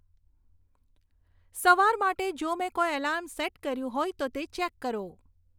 સવાર માટે જો મેં કોઈ એલાર્મ સેટ કર્યું હોય તે ચેક કરો